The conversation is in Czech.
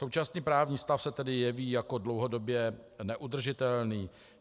Současný právní stav se tedy jeví jako dlouhodobě neudržitelný.